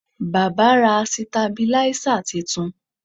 Baba ra sitabiláísà titun